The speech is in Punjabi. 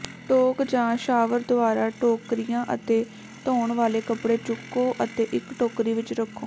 ਟੋਕ ਜਾਂ ਸ਼ਾਵਰ ਦੁਆਰਾ ਟੋਕਰੀਆਂ ਅਤੇ ਧੋਣ ਵਾਲੇ ਕੱਪੜੇ ਚੁੱਕੋ ਅਤੇ ਇੱਕ ਟੋਕਰੀ ਵਿੱਚ ਰੱਖੋ